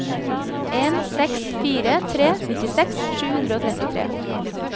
en seks fire tre nittiseks sju hundre og trettitre